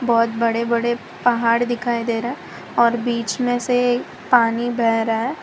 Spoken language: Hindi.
बहोत बड़े बड़े पहाड़ दिखाई दे रहा और बीच मे से पानी बह रहा--